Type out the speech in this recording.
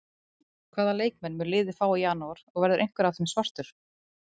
Hvaða leikmenn mun liðið fá í janúar og verður einhver af þeim svartur?